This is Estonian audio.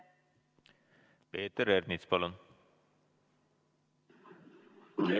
Peeter Ernits, palun!